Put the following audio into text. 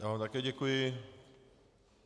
Já vám také děkuji.